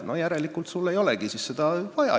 "– "No järelikult sul ei olegi siis seda vaja.